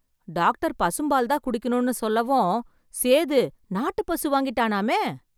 Doctor பசும்பால் தான் குடிக்கணும்னு சொல்லவும் சேது நாட்டுப்பசு வாங்கிட்டானாமே?